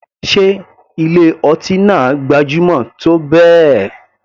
Sé ilé ọtí náà gbajúmọ̀ tó bẹ́ẹ̀.